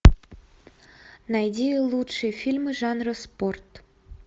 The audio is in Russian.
найди лучшие фильмы жанра спорт